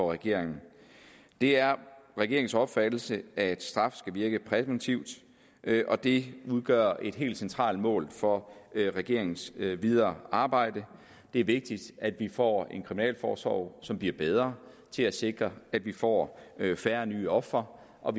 regeringen det er regeringens opfattelse at straf skal virke præventivt og det udgør et helt centralt mål for regeringens videre arbejde det er vigtigt at vi får en kriminalforsorg som bliver bedre til at sikre at vi får færre ny ofre og